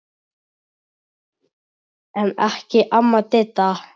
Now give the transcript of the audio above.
En ekki amma Didda.